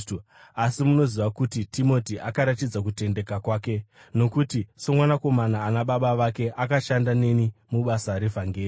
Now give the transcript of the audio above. Asi munoziva kuti Timoti akaratidza kutendeka kwake, nokuti somwanakomana ana baba vake akashanda neni mubasa revhangeri.